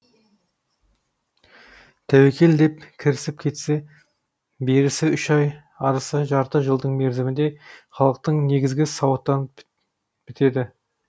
тәуекел деп кірісіп кетсе берісі үш ай арысы жарты жылдың мерзімінде халықтың негізі сауаттанып бітеді